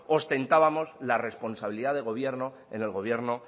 ostentábamos la responsabilidad de gobierno en el gobierno